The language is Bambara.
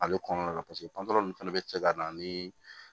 Ale kɔnɔna la fɛnɛ be cɛ ka na ni